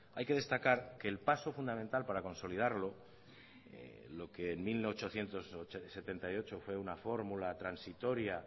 hay que destacar que el paso fundamental para consolidarlo lo que en mil ochocientos setenta y ocho fue una fórmula transitoria